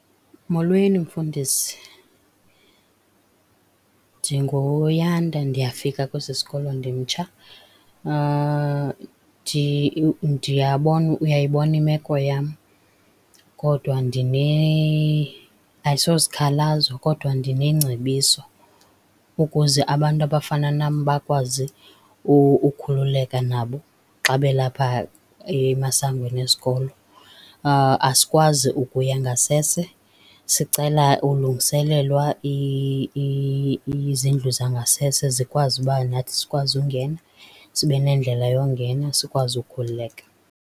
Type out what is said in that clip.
Molweni, Mfundisi. NdinguYanda ndiyafika kwesi sikolo ndimtsha. Ndiyabona uyayibona imeko yam kodwa ayisosikhalazo kodwa ndinengcebiso ukuze abantu abafana nam bakwazi ukhululeka nabo xa belapha emasangweni esikolo. Asikwazi ukuya ngasese sicela ulungiselelwa izindlu zangasese zikwazi uba nathi sikwazi ungena. Sibe nendlela yokungena sikwazi ukukhululeka.